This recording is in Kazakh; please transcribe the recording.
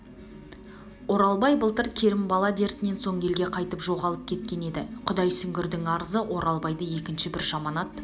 оралбай былтыр керімбала дертінен соң елге қайтпай жоғалып кеткен еді құдай сүгірдің арызы оралбайды екінші бір жаманат